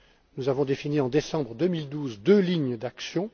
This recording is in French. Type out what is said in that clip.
Nous avons défini en décembre 2012 deux lignes d'action.